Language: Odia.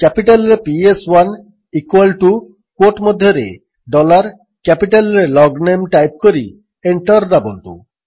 କ୍ୟାପିଟାଲ୍ରେ ପିଏସ୍1 ଇକ୍ୱାଲ୍ ଟୁ କ୍ୱୋଟ୍ ମଧ୍ୟରେ ଡଲାର୍ କ୍ୟାପିଟାଲ୍ରେ ଲଗ୍ନେମ୍ ଟାଇପ୍ କରି ଏଣ୍ଟର୍ ଦାବନ୍ତୁ